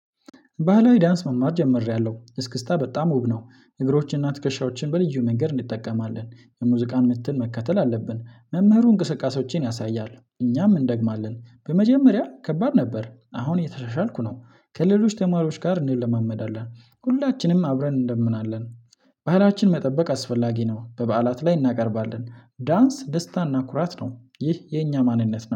ባህላዊ ዳንስ መማር ጀምሬያለሁ እስክስታ በጣም ውብ ነው። እግሮችንና ትከሻዎችን በልዩ መንገድ እንጠቀማለን የሙዚቃን ምትን መከተል አለብን። መምህሩ እንቅስቃሴዎችን ያሳያል እኛም እንደግማለን በመጀመሪያ ከባድ ነበር። አሁን እየተሻሻልኩ ነው። ከሌሎች ተማሪዎች ጋር እንለማመዳለን ሁላችንም አብረን እንደምናለን። ባህላችን መጠበቅ አስፈላጊ ነው። በበዓላት ላይ እናቀርባለን ዳንስ ደስታና ኩራት ነው። ይህ የኛ ማንነት ነው